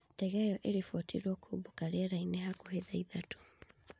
Ndege ĩyo ĩribotirwo kũũmbũka rĩera-inĩ hakuhĩ thaa ithatũ